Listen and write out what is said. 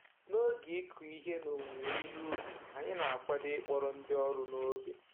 N'oge ịkụ ihe na owuwe ihe ubi, anyị na-akwado ịkpọrọ ndị ọrụ n'oge